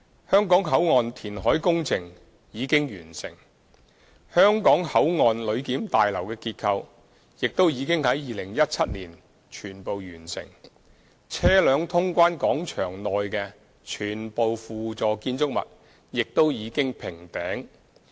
香港口岸填海工程已經完成，香港口岸旅檢大樓的結構亦已於2017年全部完成，車輛通關廣場內的全部輔助建築物亦已經平頂。